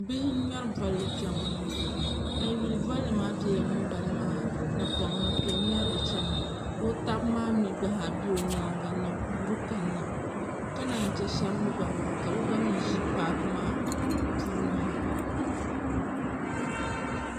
Bihi n ŋmɛri bolli chani ŋo a yuli bolli maa bɛla ŋunbala maa napoŋ ni ka o ŋmɛrili chana ka o taba maa mio gba zaa bɛ o nyaanga n na guuri kanna ka naan chɛ shaba mii gba zaa ka bi gba mii ʒi paaku maa puuni ha